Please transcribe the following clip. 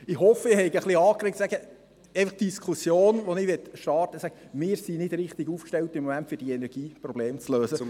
Ich hoffe, ich habe die Diskussion angeregt, dass wir im Moment nicht richtig aufgestellt sind, die Energieprobleme zu lösen